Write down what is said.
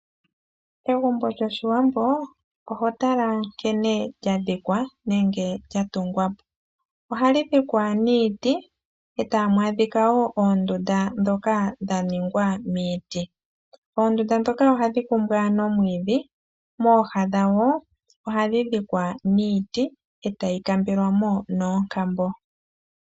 Egumbo lyoshiwambo oho tala nkene lya dhikwa nenge lya tungwa po. Ohali dhikwa niiti etamu adhikawo oondunda ndhoka dha ningwa miiti. Oondunda ndhoka ohadhi kumbwa nomwiidhi mooha dhadho ohadhi dhikwa niiti etayi kambelwamo noonkambo.